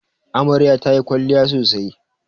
Amarya ta yi kwalliya sosai